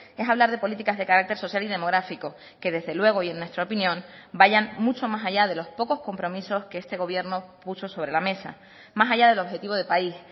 es hablar de políticas de carácter social y demográfico que desde luego y en nuestra opinión vayan mucho más allá de los pocos compromisos que este gobierno puso sobre la mesa más allá del objetivo de país